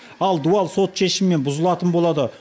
ал дуал сот шешімімен бұзылатын болады